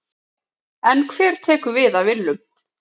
En hver tekur við af Willum?